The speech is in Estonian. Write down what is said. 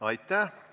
Aitäh!